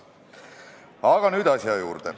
Aga nüüd asja juurde.